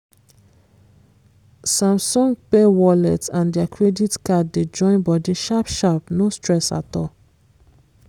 samsung pay wallet and their credit card dey join body sharp sharp no stress at all